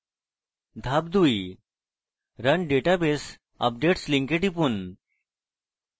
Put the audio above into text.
ধাপ 2: run database updates লিঙ্কে টিপুন